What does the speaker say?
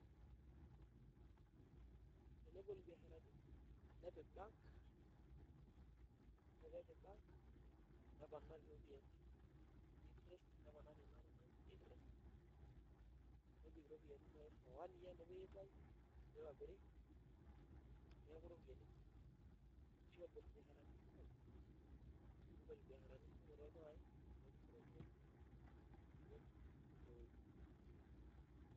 Nebolo mbiasharani nepiki bank .Yiolo pee ebol bank neponari ropiyiani, neponari enatoki naji interest. Nebik ropiyiani naaji for one year nepoi aitayu nitobiri neeku ropiyiani kumok ashu ebol mbiasharani kumok ,nebolo mbiasharani kumok toldukai nepuku ropiyiani eimu ineweji.